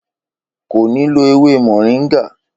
Kò ní lo ewé moringa